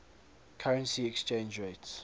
currency exchange rates